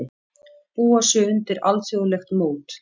Búa sig undir alþjóðlegt mót